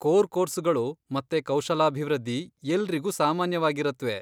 Core ಕೋರ್ಸುಗಳು ಮತ್ತೆ ಕೌಶಲಾಭಿವೃದ್ಧಿ ಎಲ್ರಿಗೂ ಸಾಮಾನ್ಯವಾಗಿರತ್ವೆ.